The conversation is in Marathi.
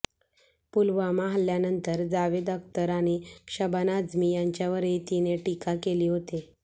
पुलवामा हल्ल्यानंतर जावेद अख्तर आणि शबाना आझमी यांच्यावरही तिने टीका केली होती